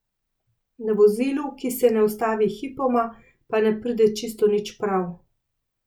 Na vozilu, ki se ne ustavi hipoma, pa ne pride čisto nič prav.